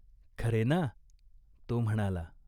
खरे ना !" तो म्हणाला.